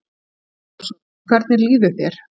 Andri Ólafsson: Hvernig líður þér?